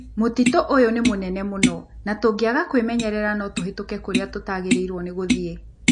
Mũtitũ ũyũ nĩ mũnene mũno na tũngĩaga kwĩmenyerera no tũhĩtũke kũrĩa tũtaagĩrĩirũo nĩ gũthiĩ.